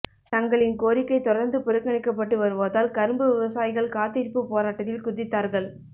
தங்களின் கோரிக்கை தொடர்ந்து புறக்கணிக்கப்பட்டு வருவதால் கரும்பு விவசாயிகள் காத்திருப்புப் போராட்டத்தில் குதித்தார்கள்